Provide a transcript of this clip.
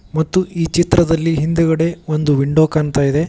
ಮತ್ತು ಈ ಚಿತ್ರದಲ್ಲಿ ಹಿಂದೆಗಡೆ ಒಂದು ವಿಂಡೋ ಕಾಣ್ತಾಇದೆ.